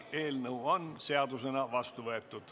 Eelnõu on seadusena vastu võetud.